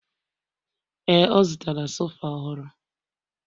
Ee, ọ zụtara sofa ọhụrụ